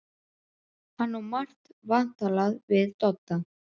Hann á margt vantalað við Dodda.